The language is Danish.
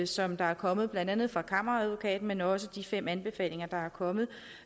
som der er kommet blandt andet fra kammeradvokaten men også de fem anbefalinger der er kommet